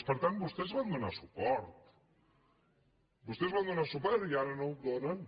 per tant vostès hi van donar suport vostès hi varen donar suport i ara no l’hi donen